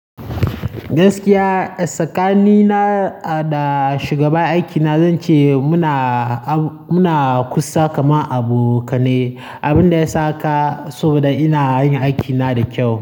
Gaskiya tsakani na da shugaban aikina zan ce muna, muna kusa kamar abokanai. Abin da yasa haka saboda ina yin aikina da kyau.